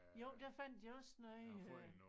Jo der fandt de også noget øh